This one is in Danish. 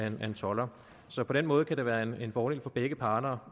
en tolder så på den måde kan det være en en fordel for begge parter